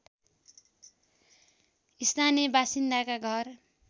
स्थानीय बासिन्दाका घर